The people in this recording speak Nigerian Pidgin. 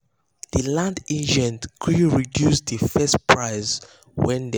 the land agent gree reduce the first price wey dem talk.